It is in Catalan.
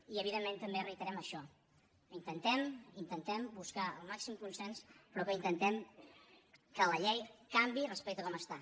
i evidentment també reiterem això que intentem intentem buscar el màxim consens però que intentem que la llei canviï respecte a com està